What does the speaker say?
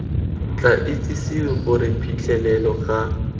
tla itsisiwe gore phitlhelelo ga